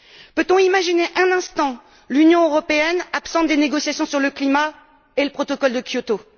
Peut on imaginer un instant l'Union européenne absente des négociaitons sur le climat et le protocole de Kyoto?